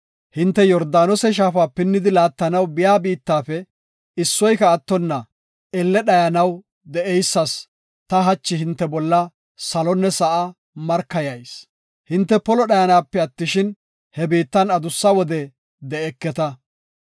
hinte Yordaanose shaafa pinnidi laattanaw biya biittafe issoyka attonna elle dhayanaw de7eysas, ta hachi hinte bolla salonne sa7a markayayis. Hinte polo dhayanape attishin, he biittan adussa wode de7eketa.